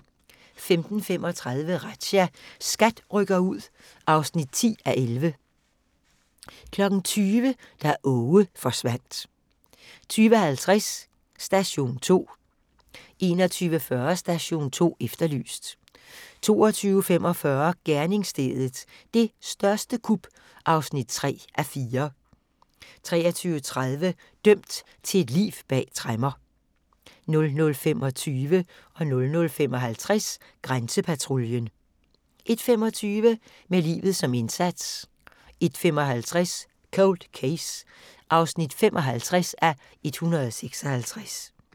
15:35: Razzia – SKAT rykker ud (10:11) 20:00: Da Aage forsvandt 20:50: Station 2 21:40: Station 2 Efterlyst 22:45: Gerningsstedet – det største kup (3:4) 23:30: Dømt til et liv bag tremmer 00:25: Grænsepatruljen 00:55: Grænsepatruljen 01:25: Med livet som indsats 01:55: Cold Case (55:156)